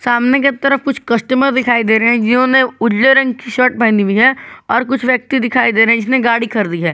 सामने की तरफ कुछ कस्टमर दिखाई दे रहे हैं जिन्होंने उजले रंग की शर्ट पहनी हुई है और कुछ व्यक्ति दिखाई दे रहे हैं जिसे गाड़ी खरीदी है।